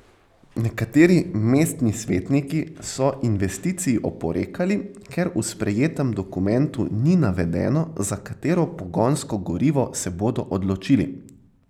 Nekateri mestni svetniki so investiciji oporekali, ker v sprejetem dokumentu ni navedeno, za katero pogonsko gorivo se bodo odločili.